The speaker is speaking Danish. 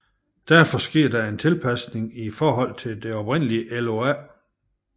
Derfor sker der en tilpasning i forhold til det oprindelige LOA